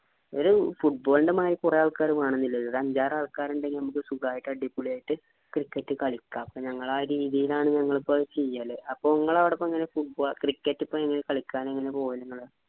ഒരു football നെ മാരി കുറെ ആൾക്കാർ വേണമെന്നില്ല. ഒരു അഞ്ചാരാൾക്കാര്‌ ഉണ്ടെങ്കിൽ നമുക്ക് സുഗായിട്ട് അടിപൊളി ആയിട്ട് cricket കളിക്കാം. ഇപ്പൊ ഞങ്ങൾ ആ രീതിയിലാണ് ഞങ്ങൾ ഇപ്പൊ ചെയ്യല്. അപ്പൊ നിങ്ങടെ അവിടെ ഇപ്പൊ അങ്ങനെ cricket ഇപ്പൊ ഏങ്ങനെ കളിക്കാന് പോവല് നിങ്ങള്‌